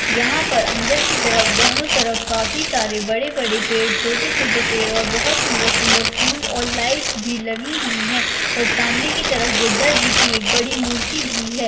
यहाँ पर अंदर की तरफ दोनो तरफ काफी सारे बड़े-बड़े पेड़ छोटे-छोटे पेड़ और बहुत सुंदर-सुंदर फूल और लाइट भी लगी हुई है और सामने की तरफ बुद्धा जी की एक बड़ी मूर्ति भी है।